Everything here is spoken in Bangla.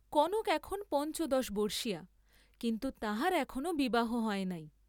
কনক এখন পঞ্চদশবর্ষীয়া, কিন্তু তাহার এখনো বিবাহ হয় নাই।